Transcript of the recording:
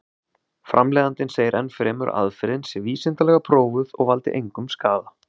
Framleiðandinn segir enn fremur að aðferðin sé vísindalega prófuð og valdi engum skaða.